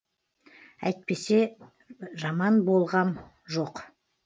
әйтпесе жаман болғам жоқ